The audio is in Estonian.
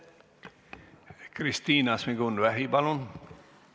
Kristina Šmigun-Vähi, palun!